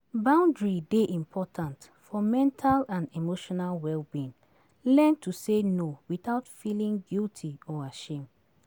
Boundary dey important for mental and emotional wellbeing, learn to say no without feeling guilty or ashame.